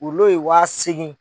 Wurulo ye wa seegin.